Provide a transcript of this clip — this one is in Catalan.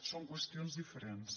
són qüestions diferents